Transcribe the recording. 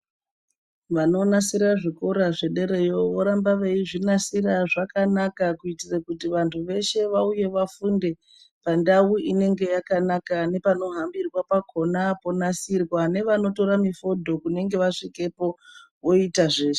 Vanonasira zvikora zvederayo vorambe veizvinasira zvakanaka kuti vanhu veshe vauye vafunde pandau inenge yakanaka nepanohambirwa pakona ponasirwa nevanotora mifodho kune vanenge vasikepo.